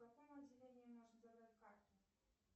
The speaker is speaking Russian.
в каком отделении можно забрать карту